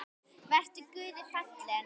Vertu Guði falinn.